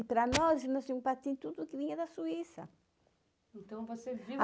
E, para nós, e nós tínhamos patins tudo que vinha da Suíça. Então você viu